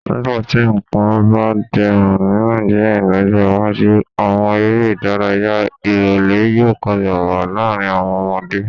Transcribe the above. Nígbà tí nǹkan bá dẹrùn ní Nàìjíríà lọ́jọ́ iwájú, àwọn eré ìdárayá ìrólẹ́ yóò padà wá láàrin àwọn ọmọdé